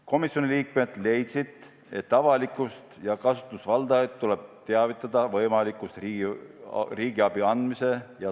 Komisjoni liikmed leidsid, et avalikkust ja kasutusvaldajaid tuleb teavitada riigiabi andmise nõude rikkumise riskist.